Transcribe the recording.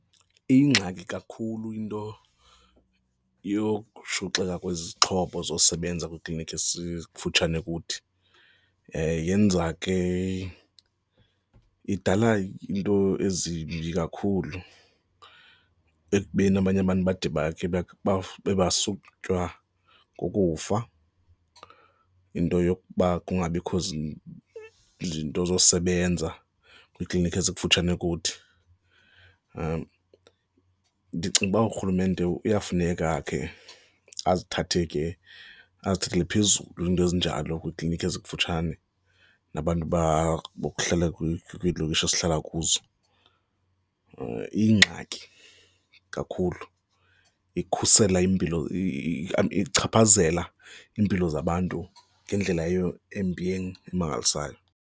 Iyingxaki kakhulu into yokushuxeka kwezixhobo zosebenza kwiiklinikhi ezifutshane kuthi, yenza ke, idala iinto ezimbi kakhulu ekubeni abanye abantu bade basutywa kukufa yinto yokuba kungabikho zinto zosebenza kwiiklinikhi ezikufutshane kuthi. Ndicinga uba urhulumente kuyafuneka akhe azithathe ke, azithathele phezulu iinto ezinjalo kwiiklinikhi ezikufutshane nabantu aba bokuhlala kwiilokishi esihlala kuzo. Iyingxaki kakhulu ikukhusela impilo ichaphazela iimpilo zabantu ngendlela embi emangalisayo.